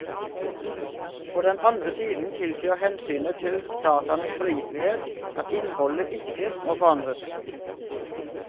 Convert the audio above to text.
På den andre side tilsier hensynet til dataenes pålitelighet at innholdet ikke må forandres.